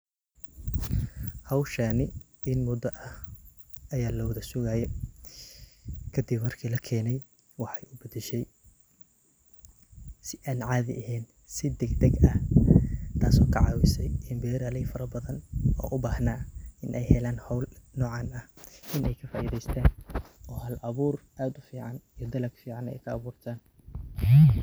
Hoshan in muda Aya lawathasugaye , kadib marki lakeenay wax kudashay suban caadi aheen degdeg ee raali farabathan inay helan awood fican inay kafairheystah Aya aad u fican inta ka abuurtan.